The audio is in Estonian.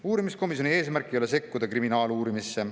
Uurimiskomisjoni eesmärk ei ole sekkuda kriminaaluurimisse.